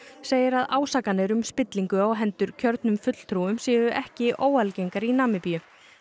segir að ásakanir um spillingu á hendur kjörnum fulltrúum séu ekki óalgengar í Namibíu